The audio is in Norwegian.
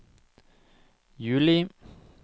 juli